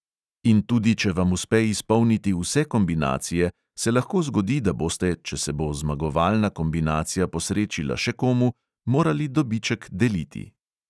In tudi če vam uspe izpolniti vse kombinacije, se lahko zgodi, da boste, če se bo zmagovalna kombinacija posrečila še komu, morali dobiček deliti.